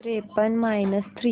त्रेपन्न minus three